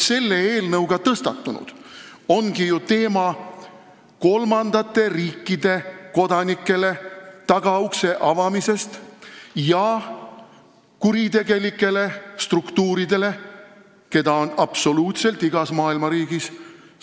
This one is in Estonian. Selle eelnõuga on tõstatunud teema tagaukse avamisest kolmandate riikide kodanikele ja kuritegelikele struktuuridele, keda on absoluutselt igas maailma riigis.